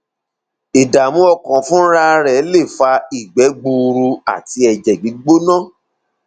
ìdààmú ọkàn fúnra rẹ lè fa ìgbẹ gbuuru àti ẹjẹ gbígbóná